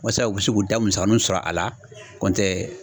Wasa u bɛ se k'u da musakaninw sɔrɔ a la kɔntɛ